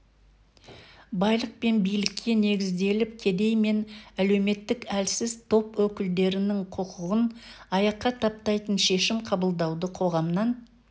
байлық пен билікке негізделіп кедей мен әлеуметтік әлсіз топ өкілдерінің құқығын аяққа таптайтын шешім қабылдауды қоғамнан